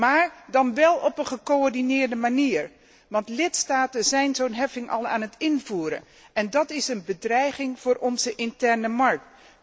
Maar dan wel op een gecoördineerde manier, want lidstaten zijn zo'n heffing al aan het invoeren en dat is een bedreiging voor onze interne markt.